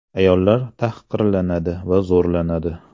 Ayollar tahqirlanadi va zo‘rlanadi.